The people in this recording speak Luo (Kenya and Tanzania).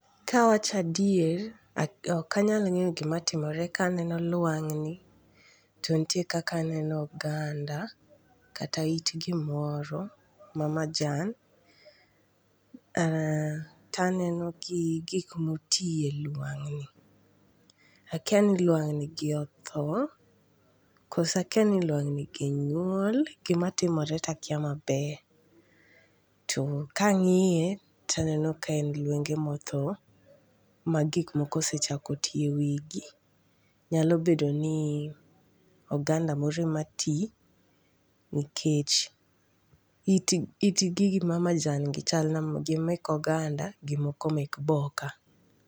Ka awacho adier okanyal ng'eyo gima timore ka, aneno lwang'ni to nitie kaka aneno oganda, kata it gimoro ma majan. um to aneno gi gik ma otie lwang'ni. Akia ni lawang'ni gi otho, koso akia ni lwang'ni gi nyuol. Gima timore to akia maber. To ka ang'iye to aneno ka en lwenge ma otho ma gik moko osechako ti e wi gi. Nyalo bedo ni oganda moro ema ti, nikech, it, it gigi ma majan gi chal na gi mek oganda, gi moko mek bo ka.